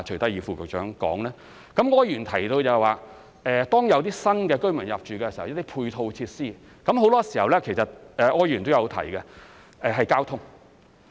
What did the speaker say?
柯議員提到，當有新居民入住，就需要一些配套設施，而很多時候是有關交通方面，這柯議員也有提到。